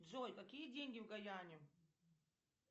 джой какие деньги в гаяне